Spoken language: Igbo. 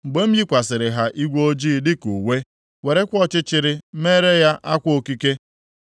mgbe m yikwasịrị ha igwe ojii dịka uwe, werekwa ọchịchịrị meere ya akwa okike,